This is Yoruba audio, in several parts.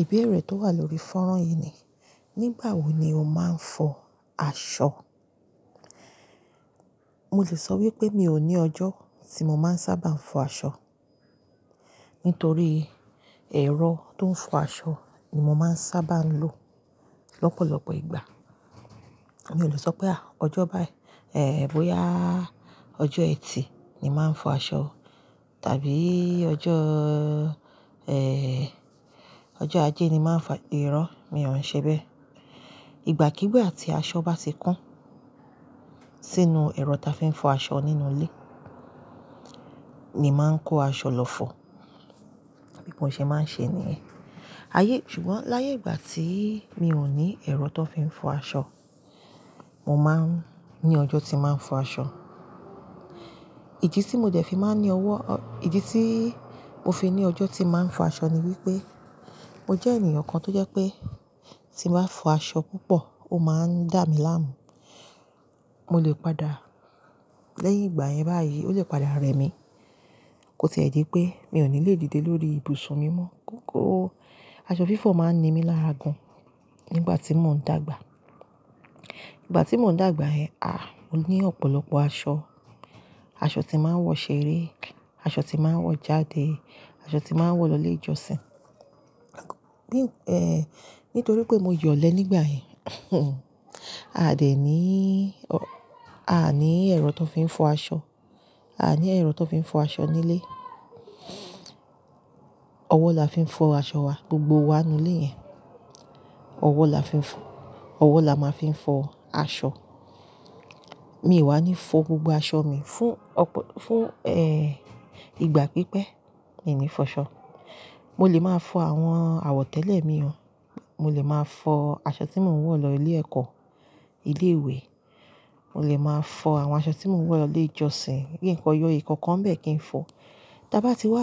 Ìbéèrè tó wà lórí fọ́nrán yìí ni, nígbà wo ni o máa ń fọ aṣọ? Mo lè sọ wípé mi ò ní ọjọ́ tí mo máa ń sábà ń fọ aṣọ, nítorí ẹ̀rọ tó ń fọ aṣọ ni mo máa ń sábà ń lò lọ́pọ̀lọpọ̀ ìgbà. Mi ò lè sọ pé à, ọjọ́ báyìí, ẹ́, bóyá ọjọ́ ẹtì ni màá ń fọ aṣọ, tàbí ọjọ́, ẹ́ẹ́, ọjọ́ ajé ni màá ń fa-- irọ mi ò ń ṣe bẹ́ẹ̀. Ìgbà kigbà tí aṣọ bá ti kún sínú ẹ̀rọ ta fi ń fọ aṣọ nínú ilé, ni màá n kó aṣọ lọ fọ. Bí mo ṣe máa ń ṣe nìyẹn. Ayé-- ṣùgbọ́n láyé ìgbà tí mi ò ní ẹ̀rọ tó fi ń fọ aṣọ, mo máa ń ní ọjọ́ tí màá ń fọ aṣọ. Ìdí tí mo dẹ̀ fi máa ní ọwọ́-- ìdí tíìí mo fi ní ọjọ́ tí màá ń fọ aṣọ ni wípé, mo jẹ́ ènìyàn kan tó jẹ́ pé tí n bá fọ aṣọ púpọ̀, ó máa ń dà mí láàmú. Mo lè padà lẹ́yìn ìgbà yẹn báyìí, ó lè padà rẹ mí. Ó ti ẹ́ dipé mi ò ní lè dìde lórí ibùsùn mi mọ́. Gógó, aṣọ fífọ̀ máa ń ni mí lára gan nígbà tí mò ń dàgbà. Ìgbà tí mò ń dàgbà yẹn a, mo ní ọ̀pọ̀lọpọ̀ aṣọ. Aṣọ tí màá ń wọ ṣeré, aṣọ tí màá ń wọ jáde, aṣọ tí màá ń wọ lọ ilé ìjọsìn. Bí-- ẹ́, nítorí pé mo yọ̀lẹ nígbà yẹn, a dẹ̀ níìí ọ-- a ní ẹ̀rọ tó fi ń fọ aṣọ. A ní ẹ̀rọ tó fi ń fọ aṣọ nílé. Ọwọ́ la fi ń fọ aṣọ wa gbogbo wa nínú ilé yẹn. Ọwọ́ la fi ń fọ-- ọwọ́ la máa fi ń fọ aṣọ. Mi o wá ní fọ gbogbo aṣọ mi fún ọ̀pọ̀-- fún, ẹ́ẹ́, ìgbà pípẹ́ mi ní fọṣọ. Mo lè máa fọ àwọn àwọ̀tẹ́lẹ̀ mi hàn. Mo lè máa fọ aṣọ tí mò ń wọ̀ lọ ilé ẹ̀kọ́, ilé ìwé. Mo lè máa fọ àwọn aṣọ tí mò ń wọ̀ lọ ilé ìjọsìn. Kin kọ yọ, ìkọ̀kan n bẹ́ẹ̀ kí n fọ. Ta bá ti wá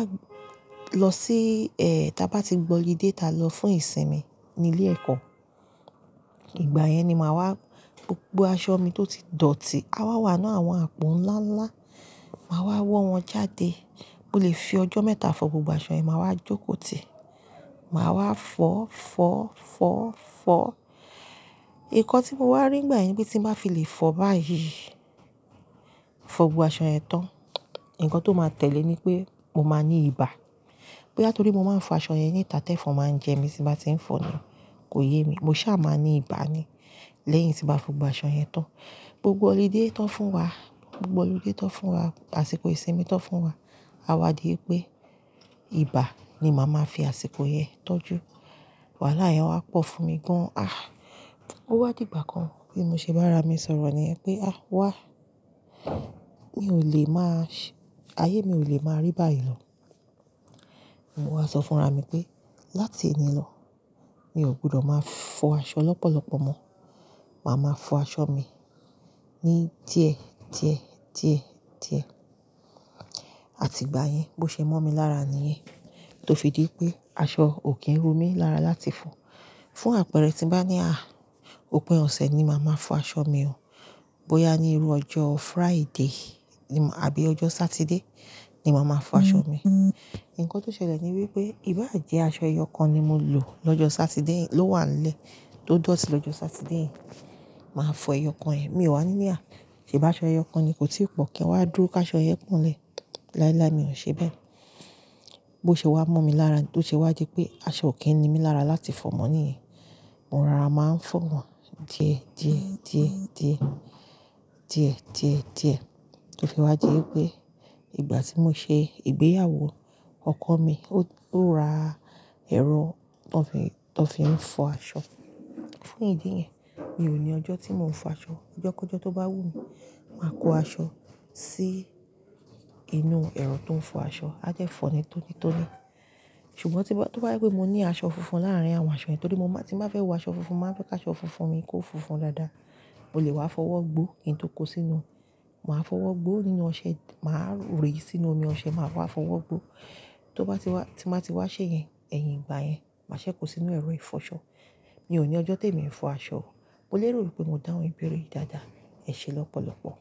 lọ sí, ẹ́ẹ́, ta bá ti gbọ́ holiday ta lọ fún ìsinmi ní ilé ẹ̀kọ́, ìgbà yẹn ni màá wá gbogbo aṣọ mi tó ti dọ̀tí, a wá wà nínú àwọn àpò ńlá ńlá. Màá wá wo wọ̀n jáde. Mo lè fi ọjọ́ mẹ́ta fọ gbogbo aṣọ yẹn, màá wá jókòó tì. Màá wá fọ́, fọ́, fọ́, fọ́. Nkan tí mo wá rí ngbà yẹn pé tí nba fi lè fọ báyìí, fọ gbogbo aṣọ yẹn tán, ǹkan tó máa tẹ̀lé ni pé mo máa ní ibà. Bóyá torí mo máa ń fọ aṣọ yẹn níta tẹ́ fọn máa ń jẹ mí tín bá tí ń fọ níì, kò yé mi. Mo sá máa ní ibà ni lẹ́yìn tín ba fọ gbogbo aṣọ yẹn tán. Gbogbo holiday tán fún wa, gbogbo holiday tán fún wa, àsìkò ìsinmi tán fún wa, a wá di wipé ibà ni màá máa fi àsìkò yẹn tọ́jú. Wàhálà yẹn wá pọ̀ fún mi gan. Ah! Ó wá di ìgbà kan bí mo ṣe bá ara mi sọ̀rọ̀ nìyẹn pé, "Ah! Wá, mi ò lè máa sh-- ayé mi ò lè máa rí báyìí lọ." Mo wá sọ fún ara mi pé láti òní lọ, mi ò gbọdọ̀ máa fọ aṣọ lọ́pọ̀lọpọ̀ mọ́. Màá máa fọ aṣọ mi ní díẹ̀, díẹ̀, díẹ̀, díẹ̀. Àti ìgbà yẹn, bó ṣe mọ́ mi lára niyen tó fi dí pé aṣọ ò kí ń ro mí lára láti fọ. Fún àpẹẹrẹ, tí bá ní, a, òpin ọ̀sẹ̀ ni màá máa fọ aṣọ mi o. Bóyá ni irú ọjọ́ Friday ni mò-- àbí ọjọ́ Saturday ni màá máa fọ aṣọ mi. Ǹkan tó ṣẹlẹ̀ ni wípé ìbá jẹ aṣọ ẹyọ kan ni mo lò lọ́jọ́ Saturday yen ló wà n lé tó dọ̀tí lọ́jọ́ Saturday yen. Màá fọ ẹyọ kan yen, mi ò wá ní ní, a, ṣe bá aṣọ ẹyọ kan ni kò tí pọ̀ kí n wá dúró ká aṣọ yen po n lẹ́. Láíláí mi ò le ṣe bẹ́ẹ̀. Bó ṣe wá mọ́ mi lára tó ṣe wá dí pé aṣọ ò kí ń ni mí lára láti fọ mọ́ níyìí, mo rara máa ń fọ wọ́n díẹ̀, díẹ̀, díẹ̀, díẹ̀, díẹ̀, díẹ̀, díẹ̀. Tó fi wá dí pé ìgbà tí mo ṣe ìgbéyàwó ọkọ mi, ó, ó ra ẹ̀rọ tó fi n tó fi ń fọ aṣọ. Fún ìdí yẹn, mi ò ní ọjọ́ tí mò ń fọ aṣọ. Ọjọ́ kọ̀ọ̀jọ́ tó bá wù mí, màá kó aṣọ sí inú ẹ̀rọ tó ń fọ aṣọ, a dẹ́ fọ̀ọ́ ni tónítóní. Ṣùgbọ́n tí bá, tó bá je pé mo ní aṣọ funfun láàrín àwọn aṣọ yẹn torí mo máa tí màá fẹ́ wọ aṣọ funfun, màá fẹ́ ká aṣọ funfun mi kó funfun dáadáa, mo lè wá fọ́wọ́ gbó kí n tó kó sínú. Màá fọ́wọ́ gbó nínú ọṣẹ, màá rẹ́ ẹ sínú omi ọṣẹ, màá wá fọ́wọ́ gbó. Tó bá ti wá, tí màá ti wá ṣẹ́ yẹn, ẹ̀yìn ìgbà yẹn, màá ṣẹ́ kó sínú ẹ̀rọ ìfọ̀ṣọ̀. Mi ò ní ọjọ́ tí èmi ń fọ aṣọ. Mo lè rò wípé mo dáhùn ìbéèrè yìí dáadáa. Ẹ ṣe lọ́pọ̀lọpọ̀.